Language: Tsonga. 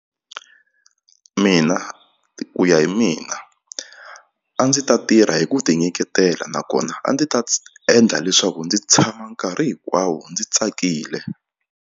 Mina ku ya hi mina a ndzi ta tirha hi ku tinyiketela nakona a ndzi ta endla leswaku ndzi tshama nkarhi hinkwawo ndzi tsakile.